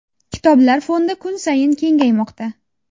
Kitoblar fondi kun sayin kengaymoqda.